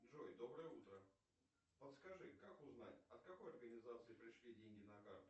джой доброе утро подскажи как узнать от какой организации пришли деньги на карту